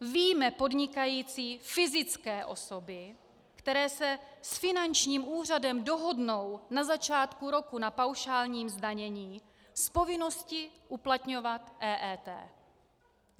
Vyjme podnikající fyzické osoby, které se s finančním úřadem dohodnou na začátku roku na paušálním zdanění, z povinnosti uplatňovat EET.